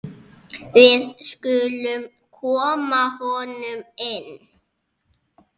Við skulum koma honum inn!